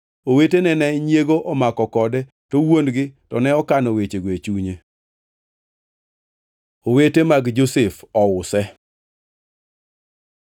Owetene ne nyiego omako kode, to wuon-gi to ne okano wechego e chunye. Owete mag Josef ouse